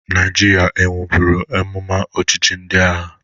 Naịjirịa enweburu amụma ọchịchị ndị agha?